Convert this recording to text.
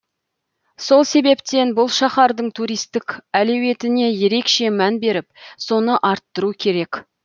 сол себептен бұл шаһардың туристік әлеуетіне ерекше мән беріп соны арттыру керек